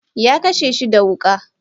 Ya kashe shi da Wuka.